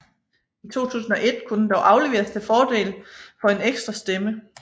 I 2001 kunne den dog afleveres til fordel for en ekstra stemme